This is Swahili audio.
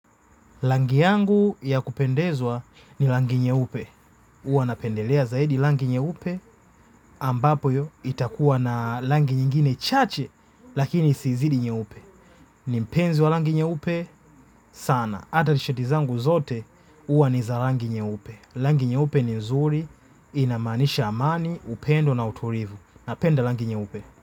Rangi yangu ya kupendezwa ni rangi nyeupe huwa napendelea zaidi rangi nyeupe ambapo iyo itakuwa na rangi nyingine chache lakini isizidi nyeupe. Ni mpenzi wa rangi nyeupe sana. Hata shati zangu zote huwa ni za rangi nyeupe. Rangi nyeupe ni zuri inamaanisha amani upendo na utulivu. Napenda rangi nyeupe.